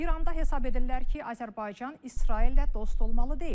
İranda hesab edirlər ki, Azərbaycan İsraillə dost olmalı deyil.